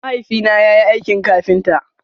Mahaifi na yayi aikin kafinta.